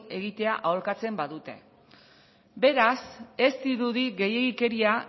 egitea aholkatzen badute beraz ez dirudi gehiegikeria